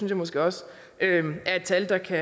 jeg måske også er et tal der kan